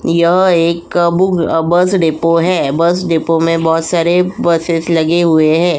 यह एक book uh bus depot है। बस डिपो में बहोत सारे बसेस लगे हुए हैं।